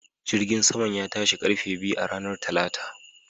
Jirgin saman ya tashi ƙarfe biyu a ranar Talata